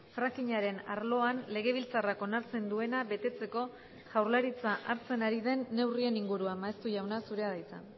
frackingaren arloan legebiltzarrak onartzen duena betetzeko jaurlaritza hartzen ari den neurrien inguruan maeztu jauna zurea da hitza